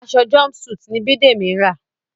Aṣọ jumpsuit ní Bidemi ń rà.